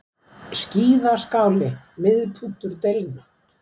Skíðaskáli miðpunktur deilna